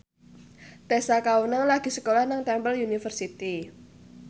Tessa Kaunang lagi sekolah nang Temple University